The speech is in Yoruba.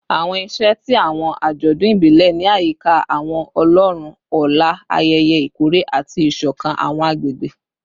Awọn iṣẹ ti awọn ajọdun ibile ni ayika awọn ọlọrun ọlá, ayẹyẹ ikore, ati isokan awọn agbegbe